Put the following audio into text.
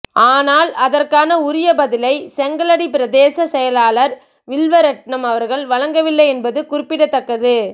ஆனால் அதற்கான உரிய பதிலை செங்கலடி பிரதேச செயலாளர் வில்வரெட்ணம் அவர்கள் வழங்கவில்லை என்பது குறிப்பிடத்தக்கது